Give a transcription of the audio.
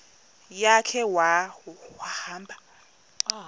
ya khe wahamba